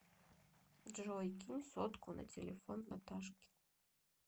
джой кинь сотку на телефон наташке